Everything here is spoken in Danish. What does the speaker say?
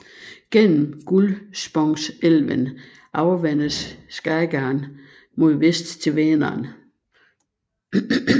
Gennem Gullspångsälven afvandes Skagern mod vest til Vänern